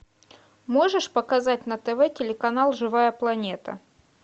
можешь показать на тв телеканал живая планета